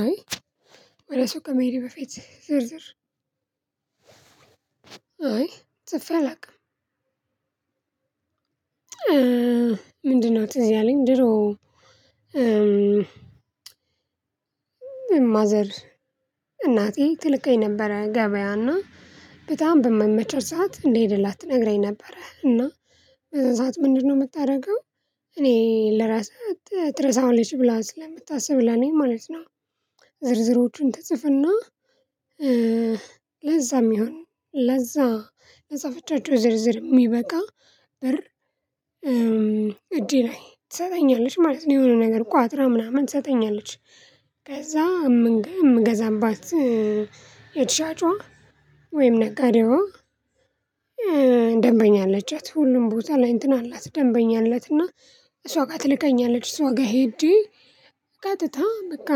አይ ወደ ሱቅ ከመሄዴ በፊት ዝርዝር አይ ጽፌ አላውቅም። ምንድነው ትዝ ያለኝ ድሮ ማዘር እናቴ ትልከኝ ነበረ ገበያ እና በጣም በማይመቻት ሰዓት እንድሄድላት ትነግረኝ ነበረ እና በዛ ሰዓት ምንድነው የምታደርገው እኔ ልረሳ ትረሳዋለች ብላ ስለምታስብ ለኔ ማለት ነው። ዝርዝሮቹን ትፅፍና ለዛ ሚሆን ለዛ ለፃፈቻቸው ዝርዝር የሚበቃ ብር እጄ ላይ ትሰጠኛለች ማለት ነው የሆነ ነገር ቋጥራ ምናምን ትሰጠኛለች። ከዛ የምንገ የምንገዛባት ሻጯ ወይም ነጋዴዋ። ደንበኛ አለቻት ሁሉም ቦታ ላይ እንትን አላት ደንበኛ አላት እና እሷ ጋር ትልከኛለች እሷ ጋር ሄጄ ቀጥታ በቃ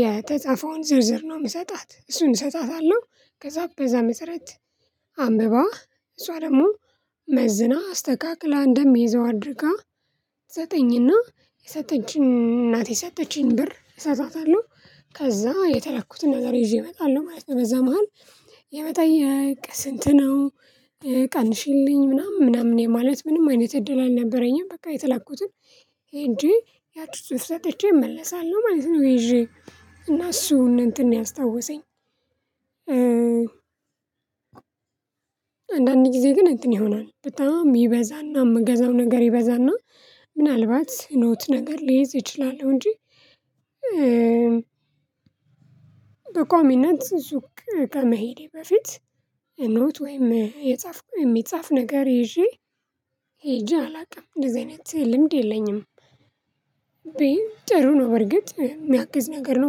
የተጻፈውን ዝርዝር ነው የምሰጣት እሱን እሰጣታለሁ። ከዛ በዛ መሰረት አንብባ እሷ ደግሞ መዝና አስተካክላ እንደምይዘው አድርጋ ትሰጠኝና የሰጠችኝ እናቴ የሰጠችኝን ብር እሰጣታለሁ ከዛ የተላኩትን ነገር ይዤ እመጣለሁ ማለት ነው። በዛ መሃል የመጠየቅ ስንት ነው? ቀንሺልኝ ምናምን ምናምን የማለት ምንም አይነት እድል አልነበረኝም። በቃ የተላኩትን ሄጄ ያቺ ጽሁፍ ሰጥቼ እመለሳለሁ ማለት ነው። ይዤ እና እሱ እንትን ነው ያስታወሰኝ። አንዳንድ ጊዜ ግን እንትን ይሆናል በጣም ይበዛና እምገዛው ነገር ይበዛና ምናልባት ኖት ነገር ሊይዝ እችላለሁ እንጂ። በቋሚነት ሱቅ ከመሄዴ በፊት ኖት ወይም የጻፍኩት የሚጻፍ ነገር ይዤ ሄጄ አላውቅም እንደዚህ አይነት ልምድ የለኝም። ጥሩ ነው በርግጥ የሚያግዝ ነገር ነው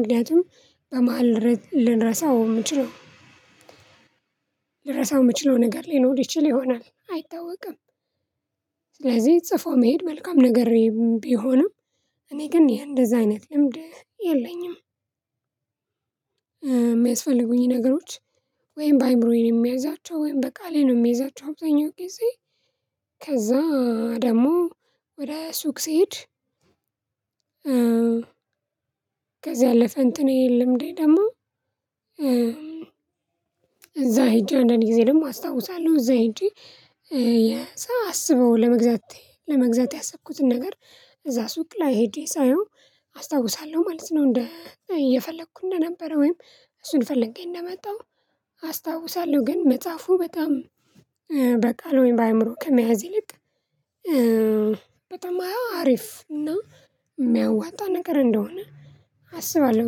ምክንያቱም በመሃል ልንረሳው የምችለው ልረሳው የምችለው ነገር ሊኖር ይችል ይሆናል አይታወቅም። ጽፎ መሄድ መልካም ነገር ቢሆንም እኔ ግን የእንደዛ አይነት ልምድ የለኝም። የሚያስፈልጉኝ ነገሮች ወይም በአእምሮዬ ነው የሚያዛቸው ወይም በቃሌ ነው የምይዛቸው አብዛኛው ጊዜ ከዛ ደግሞ ወደ ሱቅ ስሄድ። ከዛ ያለፍ እንትኔ ልምዴ ደግሞ እዛ ሄጄ አንዳንድ ጊዜ ደግሞ አስታውሳለሁ እዛ ሄጄ ሳላስበው ለመግዛት ለመግዛት ያሰብኩትን ነገር እዛ ሱቅ ላይ ሄጄ ሳየው አስታውሳለሁ ማለት ነው። እንደ እየፈለኩ እንደነበረ ወይም እሱን ፈልጌ እንደመጣሁ አስታውሳለሁ ግን መፃፉ በጣም በቃል ወይም በአእምሮ ከመያዝ ይልቅ በጣም አሪፍ እና የሚያዋጣ ነገር እንደሆነ አስባለሁ።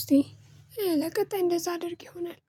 እስቲ ለቀጣይ እንደዛ አድርግ ይሆናል።